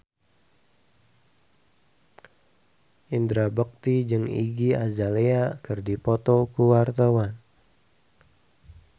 Indra Bekti jeung Iggy Azalea keur dipoto ku wartawan